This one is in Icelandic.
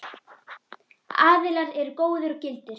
Aðilar eru góðir og gildir.